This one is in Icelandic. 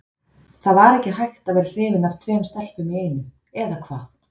Það var ekki hægt að vera hrifinn af tveimur stelpum í einu, eða hvað?